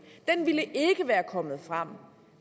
ville være kommet frem